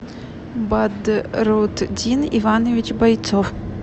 бадрутдин иванович бойцов